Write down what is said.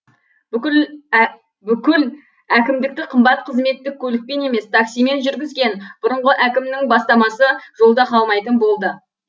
бүкіл әкімдікті қымбат қызметтік көлікпен емес таксимен жүргізген бұрынғы әкімнің бастамасы жолда қалмайтын болды